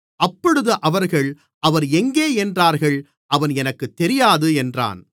அப்பொழுது அவர்கள் அவர் எங்கே என்றார்கள் அவன் எனக்குத் தெரியாது என்றான்